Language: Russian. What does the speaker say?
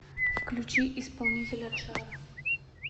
включи исполнителя джаро